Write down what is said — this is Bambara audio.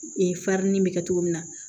Ee farinni in bɛ kɛ cogo min na